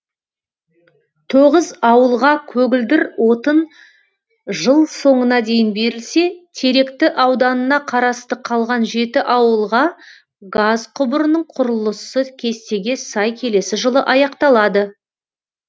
тоғыз ауылға көгілдір отын жыл соңына дейін берілсе теректі ауданына қарасты қалған жеті ауылға газ құбырының құрылысы кестеге сай келесі жылы аяқталады